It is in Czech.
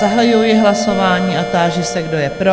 Zahajuji hlasování a táži se, kdo je pro?